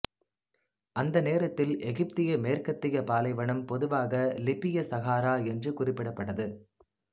அந்த நேரத்தில் எகிப்திய மேற்கத்திய பாலைவனம் பொதுவாக லிபிய சஹாரா என்று குறிப்பிடப்பட்டது